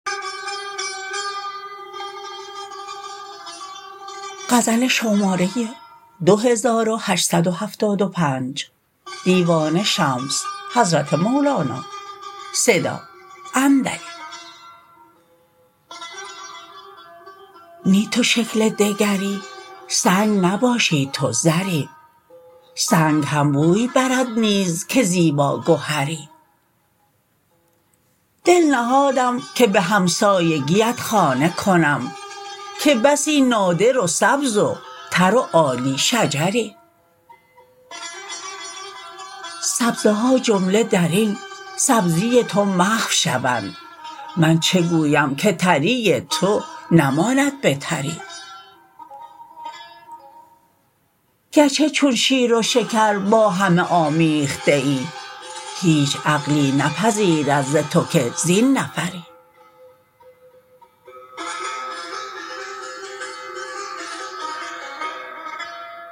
نی تو شکلی دگری سنگ نباشی تو زری سنگ هم بوی برد نیز که زیباگهری دل نهادم که به همسایگیت خانه کنم که بسی نادر و سبز و تر و عالی شجری سبزه ها جمله در این سبزی تو محو شوند من چه گویم که تری تو نماند به تری گرچه چون شیر و شکر با همه آمیخته ای هیچ عقلی نپذیرد ز تو که زین نفری